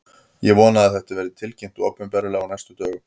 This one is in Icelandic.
Ég vona að þetta verði tilkynnt opinberlega á næstu dögum.